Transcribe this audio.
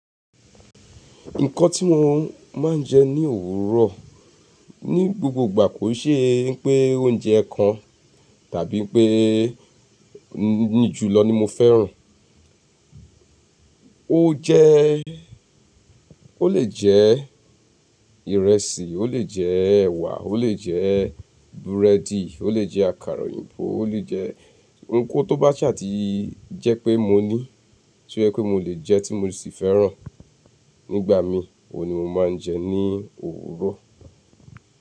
Nǹkan tí wọ́n máa ń jẹ ní òwúrọ̀ ní gbogbo ìgbà kò n ṣe pé oúnjẹ kan tàbí pé ní ju lọ ni mo fẹ́ràn. O jẹ́, ó lè jẹ́ ìrẹsì, ó lè jẹ́ ẹ̀wà, ó lè jẹ́ búrẹ́dì, ó lè jẹ́ àkàrà òyìnbó, ó lè jẹ́ ohunkóhun tó bá ṣà tì jẹ́ pé mo ní, tí ó jẹ́ pé mo lè jẹ́ tí mo sì fẹ́ràn nígbà mi, òun ni mo máa ń jẹ ní òwúrọ̀.